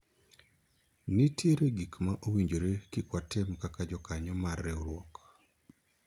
nitiere gik ma owinjore kik watim kaka jokanyo mar riwruok